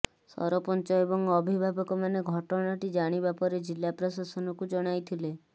ସରପଂଚ ଏବଂ ଅଭିଭାବକ ମାନେ ଘଟଣାଟି ଜାଣିବା ପରେ ଜିଲ୍ଲା ପ୍ରଶାସନକୁ ଜଣାଇଥିଲେ